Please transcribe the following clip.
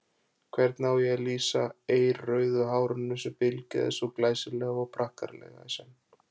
Hvernig á ég að lýsa eirrauðu hárinu sem bylgjaðist svo glæsilega og prakkaralega í senn.